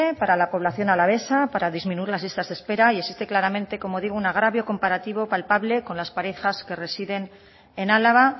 para la población alavesa para disminuir las listas de espera y existe claramente como digo un agravio comparativo palpable con las parejas que residen en álava